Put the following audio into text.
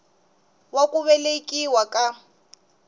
wa ku velekiwa ka n